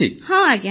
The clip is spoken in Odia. ହଁ ଆଜ୍ଞା